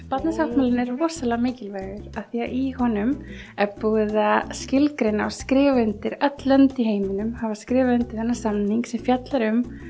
Barnasáttmálinn er rosalega mikilvægur því í honum er búið að skilgreina og skrifa undir öll lönd í heiminum hafa skrifað undir þennan samning sem fjallar um